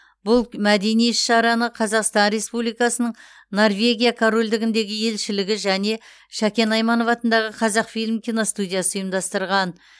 бұл мәдени іс шараны қазақстан республикасының норвегия корольдігіндегі елшілігі және шәкен айманов атындағы қазақфильм киностудиясы ұйымдастырған